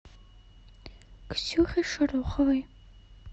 ксюхе шороховой